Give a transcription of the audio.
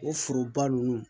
O foroba nunnu